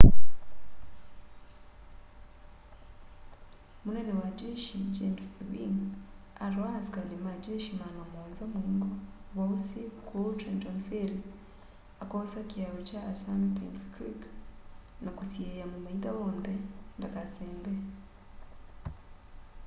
munene wa jeshi james ewing atwaa asikali ma jeshi maana muonza muingo wa ũsi kũu trenton ferry akoosa kiao kya assumnpink creek na kusiia mumaitha wonthe ndakasembe